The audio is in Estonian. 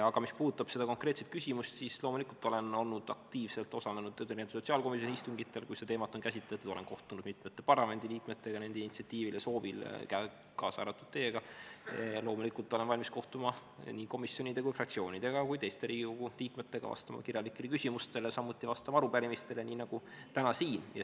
Aga mis puudutab seda konkreetset küsimust, siis loomulikult olen aktiivselt osalenud sotsiaalkomisjoni istungitel, kui seda teemat on käsitletud, olen kohtunud mitmete parlamendiliikmetega nende initsiatiivil ja soovil, kaasa arvatud teiega, ja loomulikult olen valmis kohtuma nii komisjonide, fraktsioonidega kui ka teiste Riigikogu liikmetega, vastama kirjalikele küsimustele, samuti vastama arupärimistele, nii nagu täna siin.